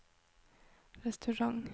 restaurant